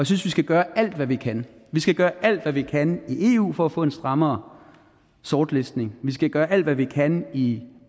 synes vi skal gøre alt hvad vi kan vi skal gøre alt hvad vi kan i eu for at få en strammere sortlistning vi skal gøre alt hvad vi kan i